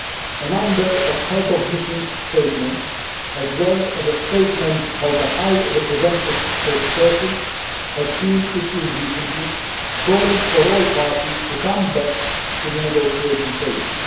A number of heads of missions' statements, as well as a statement by the High Representative's spokesperson, have been issued recently calling for all parties to come back to the negotiating table.